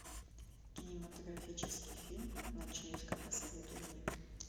кинематографический фильм ночлежка посоветуй мне